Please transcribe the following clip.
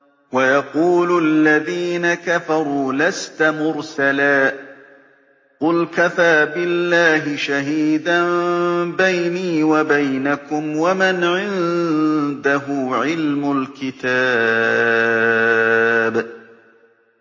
وَيَقُولُ الَّذِينَ كَفَرُوا لَسْتَ مُرْسَلًا ۚ قُلْ كَفَىٰ بِاللَّهِ شَهِيدًا بَيْنِي وَبَيْنَكُمْ وَمَنْ عِندَهُ عِلْمُ الْكِتَابِ